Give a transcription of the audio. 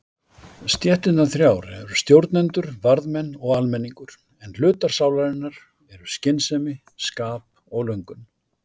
Stéttirnar þrjár eru stjórnendur, varðmenn og almenningur en hlutar sálarinnar eru skynsemi, skap og löngun.